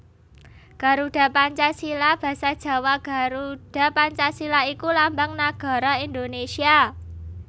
Garuda Pancasila basa Jawa Garudha Pancasila iku lambang nagara Indonésia